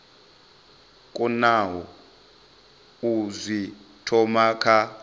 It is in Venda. konaho u zwi thoma kha